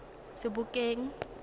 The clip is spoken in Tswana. sebokeng